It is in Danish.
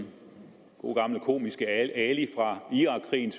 gode gamle komiske ali fra irakkrigen